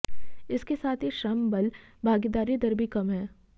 इसके साथ ही श्रम बल भागीदारी दर भी कम है